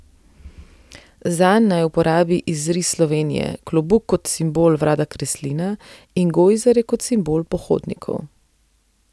Zanj naj uporabi izris Slovenije, klobuk kot simbol Vlada Kreslina in gojzarje kot simbol pohodnikov.